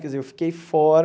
Quer dizer, eu fiquei fora...